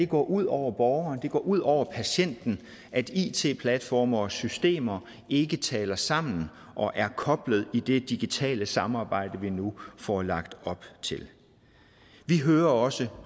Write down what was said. går ud over borgeren at det går ud over patienten at it platforme og systemer ikke taler sammen og er koblet i det digitale samarbejde vi nu får lagt op til vi hører også